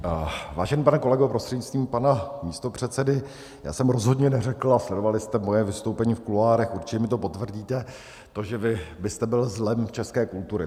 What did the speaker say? Vážený pane kolego prostřednictvím pana místopředsedy, já jsem rozhodně neřekl, a sledovali jste moje vystoupení v kuloárech, určitě mi to potvrdíte, to, že vy byste byl zlem české kultury.